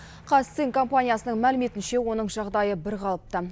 қазцинк компаниясының мәліметінше оның жағдайы бірқалыпты